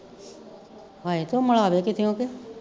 ਹਾਏ ਤੂੰ ਮਲਾਦੇ ਕਿਤੇਓਂ ਕਿ